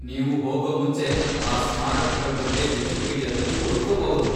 ನೀವು ಹೋಗೊ ಮುಂಚೆ ಆ ಸ್ಮಾರಕಗಳ್ ಬಗ್ಗೆ ವಿಕಿಪೀಡಿಯಾದಲ್ಲಿ ಓದ್ಕೊಬಹುದು.